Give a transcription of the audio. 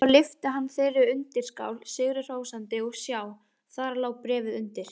Svo lyfti hann þeirri undirskál sigri hrósandi og sjá: Þar lá bréfið undir!